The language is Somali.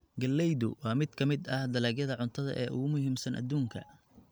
Galleydu waa mid ka mid ah dalagyada cuntada ee ugu muhiimsan adduunka.